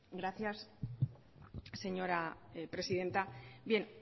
gracias señora presidenta bien